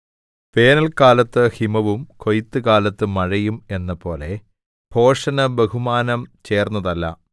വേനൽകാലത്ത് ഹിമവും കൊയ്ത്തുകാലത്ത് മഴയും എന്നപോലെ ഭോഷന് ബഹുമാനം ചേർന്നതല്ല